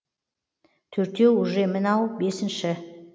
төртеу уже мынау бесінші